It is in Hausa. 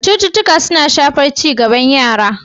Cututtuka suna shafar ci gaban yara.